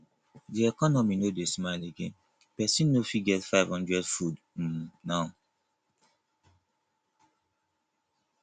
de economy no dey smile again pesin no fit get 500 food um now